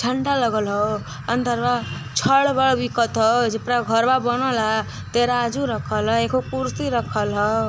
ठंडा लगल ह अन्दरवा